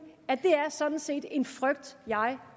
at det sådan set er en frygt jeg